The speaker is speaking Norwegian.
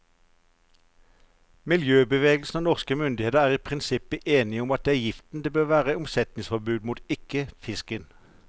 Miljøbevegelsen og norske myndigheter er i prinsippet enige om at det er giften det bør være omsetningsforbud mot, ikke fisken.